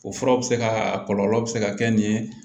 O fura bɛ se ka kɔlɔlɔ bɛ se ka kɛ nin ye